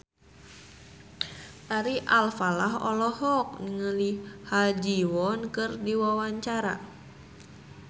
Ari Alfalah olohok ningali Ha Ji Won keur diwawancara